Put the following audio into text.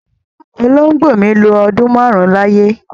Olóngbó mi lọ ọdún máarun láyé